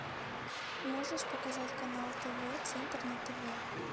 можешь показать канал тв центр на тв